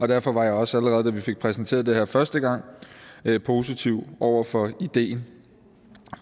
derfor var jeg også allerede da vi fik præsenteret det her første gang positiv over for ideen